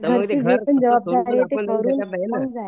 जबाबदारी आहे ते करून मग जायचं